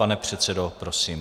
Pane předsedo, prosím.